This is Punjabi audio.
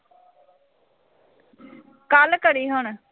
ਕੱਲ ਕਰੀਂ ਹੁਣ